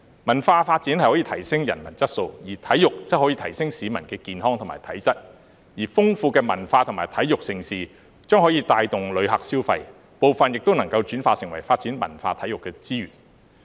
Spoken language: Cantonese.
文化發展可以提升人文質素，體育則可以提升市民的健康和體質，而豐富的文化和體育盛事將可以帶動旅客消費，部分也能轉化為發展文化、體育的資源。